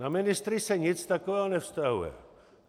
Na ministry se nic takového nevztahuje.